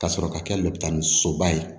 Ka sɔrɔ ka kɛ ni soba ye